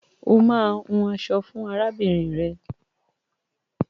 O máa hun aṣọ fún arábìnrin rẹ.